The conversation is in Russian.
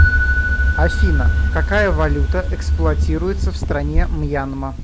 афина какая валюта эксплуатируется в стране мьянма